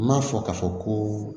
N m'a fɔ k'a fɔ koo